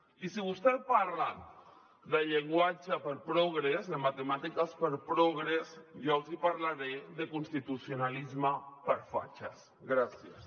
i si vostès parlen de llenguatge per a progres de matemàtiques per a progres jo els hi parlaré de constitucionalisme per a fatxes